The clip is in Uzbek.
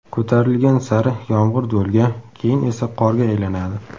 ko‘tarilgan sari yomg‘ir do‘lga, keyin esa qorga aylanadi.